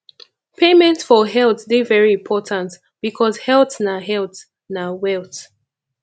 payment for health de very important because health na health na wealth